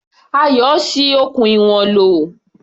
Ayọ̀ ṣi okùn ìwọ̀n lò.